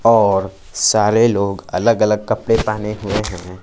और सारे लोग अलग-अलग कपड़े पहने हुए हैं।